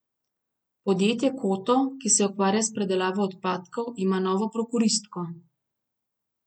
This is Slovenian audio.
Podjetje Koto, ki se ukvarja s predelavo odpadkov, ima novo prokuristko.